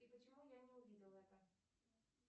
и почему я не увидела это